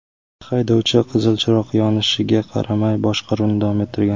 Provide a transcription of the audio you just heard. Haydovchi qizil chiroq yonishiga qaramay boshqaruvni davom ettirgan.